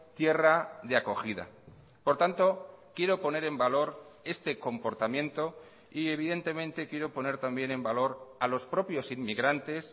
tierra de acogida por tanto quiero poner en valor este comportamiento y evidentemente quiero poner también en valor a los propios inmigrantes